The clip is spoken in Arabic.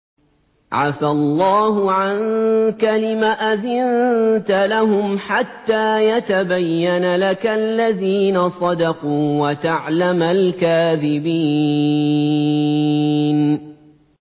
عَفَا اللَّهُ عَنكَ لِمَ أَذِنتَ لَهُمْ حَتَّىٰ يَتَبَيَّنَ لَكَ الَّذِينَ صَدَقُوا وَتَعْلَمَ الْكَاذِبِينَ